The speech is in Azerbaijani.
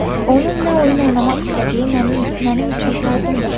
onun nə oyun oynamaq istədiyi mənim üçün aydındır.